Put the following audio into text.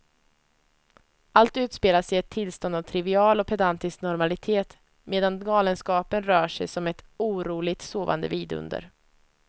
Allt utspelas i ett tillstånd av trivial och pedantisk normalitet medan galenskapen rör sig som ett oroligt sovande vidunder.